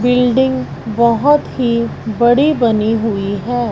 Building बहुत ही बड़ी बनी हुई है।